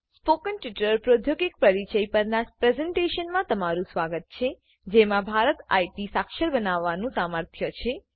spoken tutorial પ્રૌધોગિક પરિચય પરનાં પ્રેઝેન્ટેશનમાં તમારું સ્વાગત છે જેમાં ભારત આઇટી સાક્ષર બનાવવાનું સામર્થ્ય છે